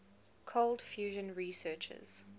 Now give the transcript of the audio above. cold fusion researchers